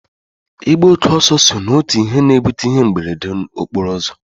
Ịgba oke ọsọ so n'otu ihe na-ebute ihe mberede okporo ụzọ